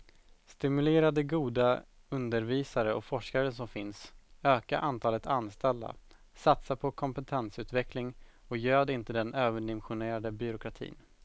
Stimulera de goda undervisare och forskare som finns, öka antalet anställda, satsa på kompetensutveckling och göd inte den överdimensionerade byråkratin.